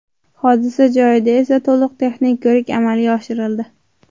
Hodisa joyida esa to‘liq texnik ko‘rik amalga oshirildi.